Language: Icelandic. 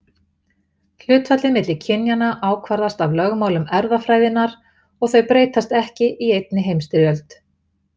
Hlutfallið milli kynjanna ákvarðast af lögmálum erfðafræðinnar og þau breytast ekki í einni heimstyrjöld.